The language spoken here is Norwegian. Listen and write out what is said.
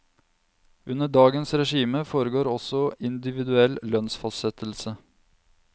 Under dagens regime foregår også individuell lønnsfastsettelse.